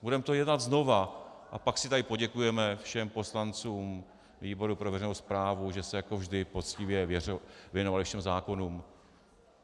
Budeme to dělat znova, a pak si tady poděkujeme všem poslancům výboru pro veřejnou správu, že se jako vždy poctivě věnovali všem zákonům.